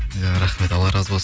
иә рахмет алла разы болсын